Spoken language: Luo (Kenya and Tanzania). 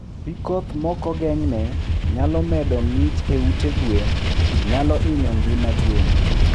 Pii koth mokogengne nyalo medo ngich e ute gwen, nyalo hinyo ngima gwen